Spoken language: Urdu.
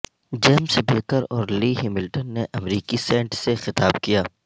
جیمز بیکر اور لی ہیملٹن نے امریکی سینٹ سے خطاب کیا